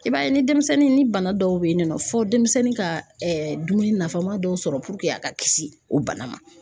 I b'a ye ni denmisɛnnin ni bana dɔw bɛ yen nɔ fɔ denmisɛnnin ka dumuni nafama dɔw sɔrɔ a ka kisi o bana ma.